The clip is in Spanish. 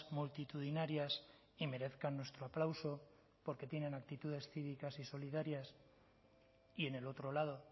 multitudinarias y merezcan nuestro aplauso porque tienen actitudes cívicas y solidarias y en el otro lado